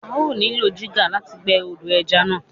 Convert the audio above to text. A ó nílò jígà láti gbẹ́ odò ẹja náà.